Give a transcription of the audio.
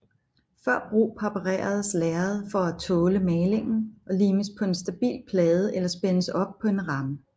Før brug præpareres lærredet for at tåle malingen og limes på en stabil plade eller spændes op på en ramme